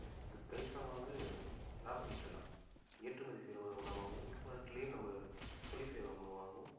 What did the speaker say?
கணிசமாக லாபம் ஈட்டலாம் ஏற்றுமதி செய்யறது மூலமாகவும் உள்நாட்டிலே நம்ம தொழில் செய்யறது மூலமாகவும்